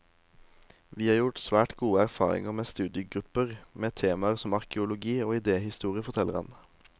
Vi har gjort svært gode erfaringer med studiegrupper med temaer som arkeologi og idéhistorie, forteller han.